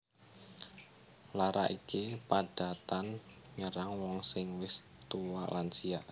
Lara iki padatan nyerang wong sing wis tuwa lansia